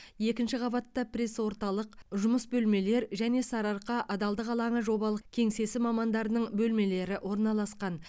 екінші қабатта пресс орталық жұмыс бөлмелер және сарыарқа адалдық алаңы жобалық кеңсесі мамандарының бөлмелері орналасқан